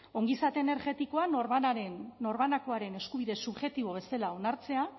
ongizate energetikoa norbanakoaren eskubide subjektibo bezala onartzea